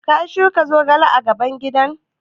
Ka shuka zogale a gaban gidan?